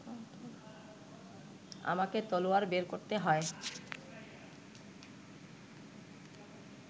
আমাকে তলোয়ার বের করতে হয়